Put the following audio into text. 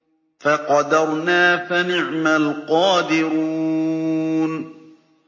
فَقَدَرْنَا فَنِعْمَ الْقَادِرُونَ